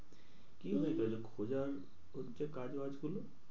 কি হয়েছে খোঁজার পড়ছে কাজ বাজ গুলো?